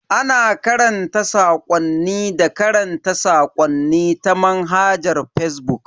Ana tura sakwanni da karanta sakonni ta manhajar fazbuk.